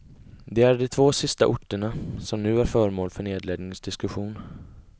Det är de två sista orterna, som nu är föremål för nedläggningsdiskussion.